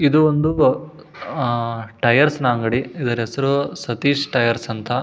ಇದು ಒಂದು ಅಹ್ ಟೈರ್ಸ್ನ ಅಂಗಡಿ ಇದರ ಹೆಸರು ಸತೀಶ್ ಟೈರ್ಸ್ ಅಂತ --